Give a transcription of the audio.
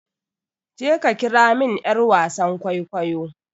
je ka kira min yar wasan kwaikwayo!